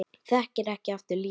Þekkir ekki aftur líf sitt